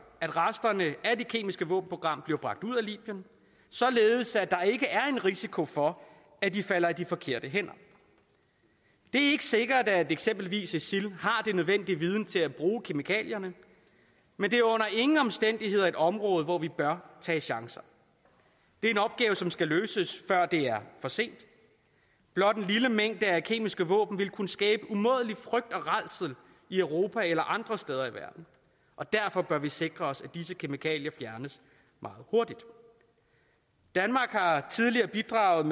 at resterne af det kemiske våbenprogram bliver bragt ud af libyen således at der ikke er en risiko for at de falder i de forkerte hænder det er ikke sikkert at eksempelvis isil har den nødvendige viden til at bruge kemikalierne men det er under ingen omstændigheder et område hvor vi bør tage chancer det er en opgave som skal løses før det er for sent blot en lille mængde af kemiske våben vil kunne skabe umådelig frygt og rædsel i europa eller andre steder i verden og derfor bør vi sikre os at disse kemikalier fjernes meget hurtigt danmark har tidligere bidraget